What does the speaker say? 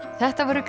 þetta voru